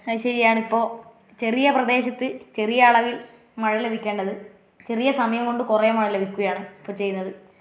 അതുശരിയാണിപ്പോ ചെറിയ പ്രദേശത്തു ചെറിയ അളവിൽ മഴ ലഭിക്കേണ്ടത്. ചെറിയ സമയം കൊണ്ട് കൊറേ മഴ ലഭിക്കുകയാണ് ഇപ്പൊചെയ്യുന്നത്.